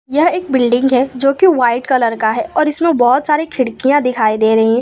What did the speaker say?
यह एक बिल्डिंग है जो की व्हाइट कलर का है और इसमें बहुत सारे खिड़कियां दिखाई दे रही है।